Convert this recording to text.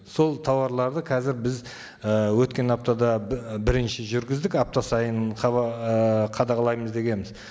сол тауарларды қазір біз і өткен аптада бірінші жүргіздік апта сайын ыыы қадағалаймыз дегенбіз